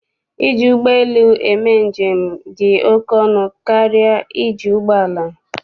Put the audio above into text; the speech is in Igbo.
Iji ụgbọ lu eme njem dị ọkụ ọnụ ahịa karịa iji ụgbọala.